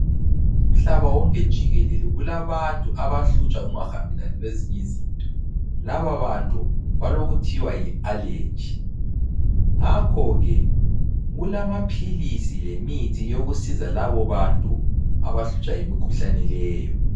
Umhlaba wonke jikelele kulabantu abahlutshwa yikungahambelani kwezinye izinto. Laba bantu balokuthiwa yi-allergy ngakho ke kulamaphilisi lemithi yokusiza labo bantu abahlutshwa yimikhuhlane leyo.